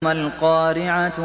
مَا الْقَارِعَةُ